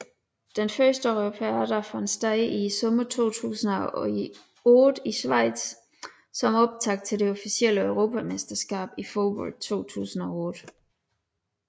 Den første Europeada fandt sted i sommeren 2008 i Schweiz som optakt til det officielle europamesterskab i fodbold 2008